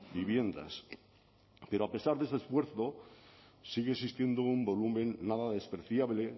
viviendas pero a pesar de ese esfuerzo sigue existiendo un volumen nada despreciable